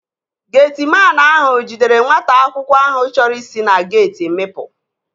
Getiman ahụ jidere nwata akwụkwọ ahụ chọrọ isi na geeti mịpu